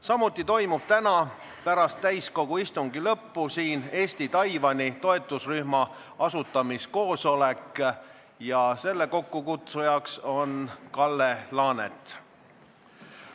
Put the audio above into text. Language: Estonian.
Samuti toimub täna pärast täiskogu istungi lõppu siin Eesti-Taiwani toetusrühma asutamiskoosolek, selle kokkukutsuja on Kalle Laanet.